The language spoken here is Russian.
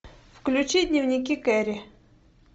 включи дневники кэрри